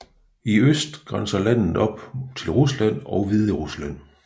I øst grænser landet op til Rusland og Hviderusland